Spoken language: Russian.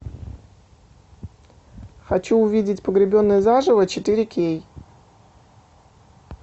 хочу увидеть погребенные заживо четыре кей